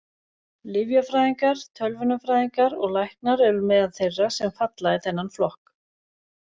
Lyfjafræðingar, tölvunarfræðingar og læknar eru meðal þeirra sem falla í þennan flokk.